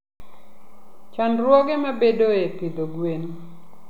Chandruoge mabedoe e pidho gwen.